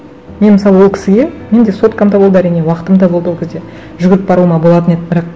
мен мысалы ол кісіге менде соткам да болды әрине уақытым да болды ол кезде жүгіріп баруыма болатын еді бірақ